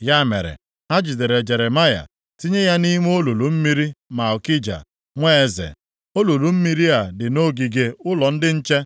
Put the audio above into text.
Ya mere, ha jidere Jeremaya, tinye ya nʼime olulu mmiri Malkija, nwa eze. Olulu mmiri a dị nʼogige ụlọ ndị nche.